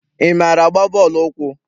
Ị maara agba bọọlụ ụkwụ?